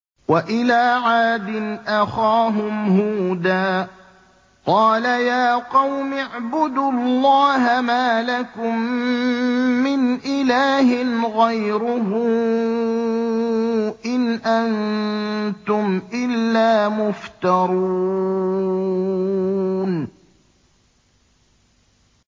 وَإِلَىٰ عَادٍ أَخَاهُمْ هُودًا ۚ قَالَ يَا قَوْمِ اعْبُدُوا اللَّهَ مَا لَكُم مِّنْ إِلَٰهٍ غَيْرُهُ ۖ إِنْ أَنتُمْ إِلَّا مُفْتَرُونَ